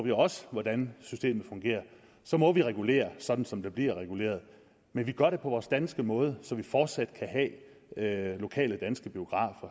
jo også hvordan systemet fungerer så må vi regulere sådan som der bliver reguleret men vi gør det på vores danske måde så vi fortsat kan have lokale danske biografer